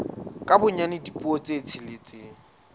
ka bonyane dipuo tse tsheletseng